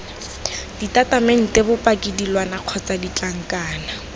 ditatamente bopaki dilwana kgotsa ditlankana